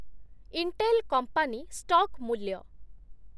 Intel company stock ମୂଲ୍ୟ